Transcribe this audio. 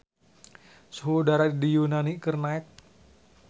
Suhu udara di Yunani keur naek